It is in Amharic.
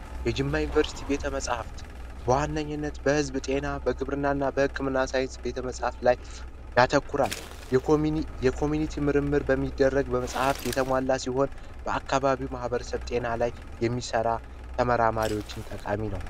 የጅማ ዩኒቨርሲቲ ቤተ መጽሐፍት ውሃነኝነት በዝብ ጤና በግብርናና ሳይንስ ቤተመፃፍ ላይ ያተኮራ ምርምር በሚደረግ በመጽሃፍት የተሟላ ሲሆን በአካባቢው ማህበረሰብ ጤና ላይ የሚሰራ ተመራማሪዎችን ጠቃሚ ነው